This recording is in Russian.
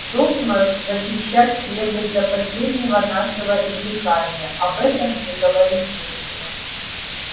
долг наш защищать крепость до последнего нашего издыхания об этом и говорить нечего